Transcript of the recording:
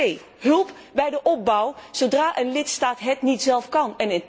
Twee hulp bij de opbouw zodra een lidstaat het zelf niet kan.